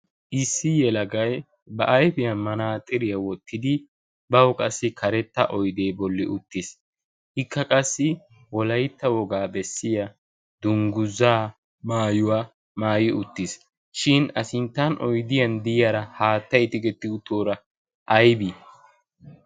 issi yelagai ba ayfiyaa manaaxiriyaa wottidi bawo qassi karetta oydee bolli uttiis hikka qassi wolaytta wogaa bessiya dungguzaa maayuwaa maayi uttiis shin a sinttan oydiyan diyyaara haattay tigetti uttoora aybii ?